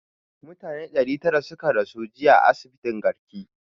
Mutane ɗari tara da tara suka rasu jiya a asibitin garki